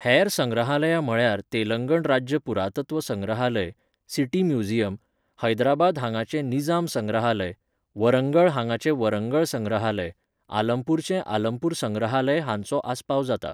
हेर संग्रहालयां म्हळ्यार तेलंगण राज्य पुरातत्व संग्रहालय, सिटी म्युझियम, हैदराबाद हांगाचें निजाम संग्रहालय, वरंगळ हांगाचें वरंगळ संग्रहालय, आलमपूरचें आलमपूर संग्रहालय हांचो आस्पाव जाता.